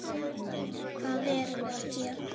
Hvað erum við gera?